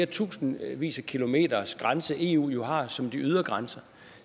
tusindvis af kilometers grænse eu jo har som ydre grænse